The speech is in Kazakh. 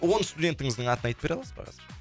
он студентіңіздің атын айтып бере аласыз ба қазір